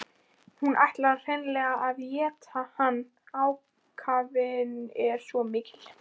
Hún ætlar hreinlega að éta hann, ákafinn er svo mikill.